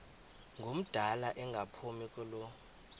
ngumdala engaphumi kulo